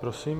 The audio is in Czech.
Prosím.